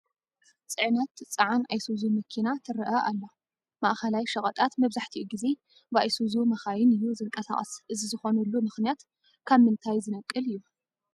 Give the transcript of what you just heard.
ፅዕነት ትፀዓን ኣይሱዙ መኪና ትርአ ኣላ፡፡ ማእኸላይ ሸቐጣት መብዛሕትኡ ግዜ ብኣይሱዙ መኻይን እዩ ዝንቀሳቐስ፡፡ እዚ ዝኾነሉ ምኽንያት ካብ ምንታይ ዝነቅል እዩ?